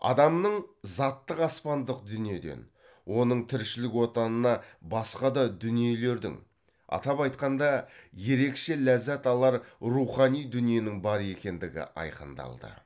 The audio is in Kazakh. адамның заттық аспандық дүниеден оның тіршілік отанына басқа да дүниелердің атап айтқанда ерекше ләззат алар рухани дүниенің бар екендігі айқындалды